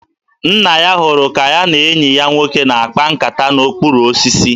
Nna ya hụrụ ka ya na enyi ya nwoke na-akpa nkata n'okpuru osisi